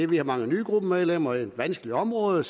vi har mange nye gruppemedlemmer et vanskeligt område